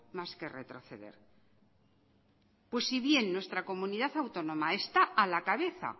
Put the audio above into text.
más que retroceder pues si bien nuestra comunidad autónoma está a la cabeza